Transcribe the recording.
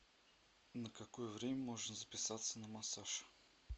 на какое время можно записаться на массаж